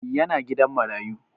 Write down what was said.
Yana gidan marayu